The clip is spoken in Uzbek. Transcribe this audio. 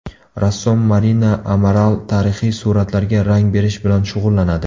Rassom Marina Amaral tarixiy suratlarga rang berish bilan shug‘ullanadi.